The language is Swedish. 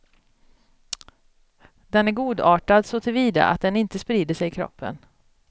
Den är godartad såtillvida att den inte sprider sig i kroppen.